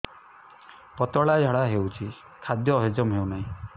ପତଳା ଝାଡା ହେଉଛି ଖାଦ୍ୟ ହଜମ ହେଉନାହିଁ